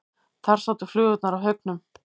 Þar sátu flugurnar í haugum.